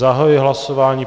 Zahajuji hlasování.